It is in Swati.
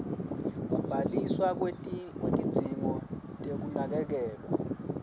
kubhaliswa kwetidzingo tekunakekelwa